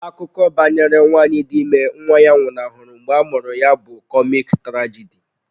Akụkọ banyere nwanyị dị ime nwa ya nwụnahụrụ mgbe a mụrụ ya bụ kọmik trajidi.